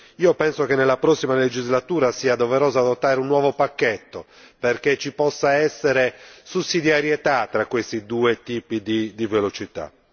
Io penso che nella prossima legislatura sia doveroso adottare un nuovo pacchetto perché ci possa essere sussidiarietà tra questi due tipi di velocità.